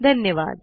धन्यवाद